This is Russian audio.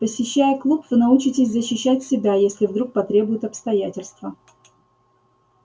посещая клуб вы научитесь защищать себя если вдруг потребуют обстоятельства